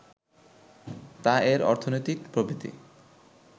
তা এর অর্থনৈতিক প্রবৃদ্ধি